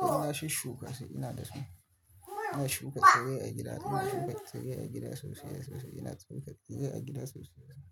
Ina shi shuka sai ina da su. Ina shuka tsire a gida, ina shuka tsire a gida sosai sosai. Ina tsire tsire a gida sosai sosai.